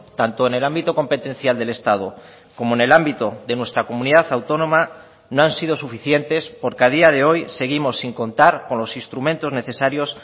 tanto en el ámbito competencial del estado como en el ámbito de nuestra comunidad autónoma no han sido suficientes porque a día de hoy seguimos sin contar con los instrumentos necesarios